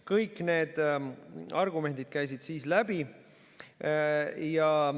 Kõik need argumendid käisid läbi.